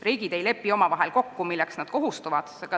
Riigid ei lepi omavahel kokku, milleks nad kohustuvad.